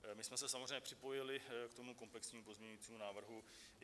My jsme se samozřejmě připojili k tomu komplexnímu pozměňovacímu návrhu.